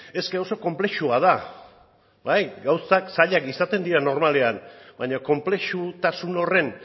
eske oso konplexua da bai gauzak zailak izaten dira normalean baina konplexutasun horren